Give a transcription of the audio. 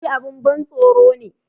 Lokaci abun ban tsoro ne